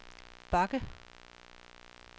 bakke